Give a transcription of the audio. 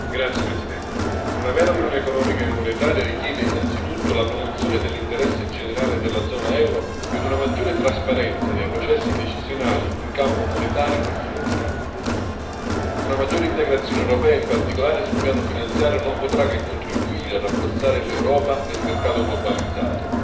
Signora Presidente, onorevoli colleghi, una vera unione economica e monetaria richiede innanzitutto la promozione dell'interesse generale della zona euro e una maggiore trasparenza dei processi decisionali in campo monetario e finanziario. Una maggiore integrazione europea, in particolare sul piano finanziario, non potrà che contribuire a rafforzare l'Europa nel mercato globalizzato.